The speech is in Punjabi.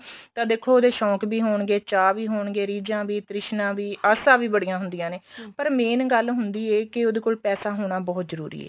ਤੇ ਦੇਖੋ ਉਹਦੇ ਸ਼ੋਂਕ ਵੀ ਹੋਣਗੇ ਚਾ ਵੀ ਹੋਣਗੇ ਰਿਜਾ ਵੀ ਤ੍ਰਿਸ਼ਨਾ ਵੀ ਆਸਾ ਵੀ ਬੜਿਆ ਹੁੰਦੀਆਂ ਨੇ ਪਰ main ਗੱਲ ਹੁੰਦੀ ਏ ਕੀ ਉਹਦੇ ਕੋਲ ਪੈਸਾ ਹੋਣਾ ਬਹੁਤ ਜਰੂਰੀ ਏ